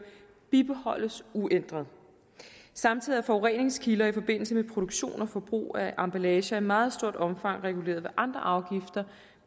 bibeholdes uændret samtidig er forureningskilder i forbindelse med produktion og forbrug af emballager i meget stort omfang reguleret ved andre afgifter